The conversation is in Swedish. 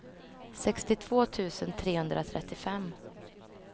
sextiotvå tusen trehundratrettiofem